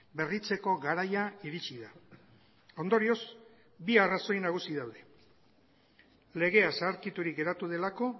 berritzeko garaia iritsi da ondorioz bi arrazoi nagusi daude legea zaharkiturik geratu delako